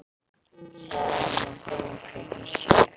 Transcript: Segðu honum að koma klukkan sjö.